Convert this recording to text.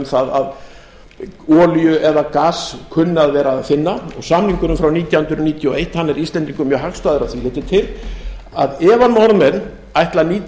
það að olíu eða gas kunni að vera að finna og samningurinn frá nítján hundruð níutíu og eitt er íslendingum mjög hagstæður að því leyti til að ef að norðmenn ætla að nýta